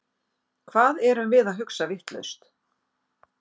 Hvað erum við að hugsa vitlaust?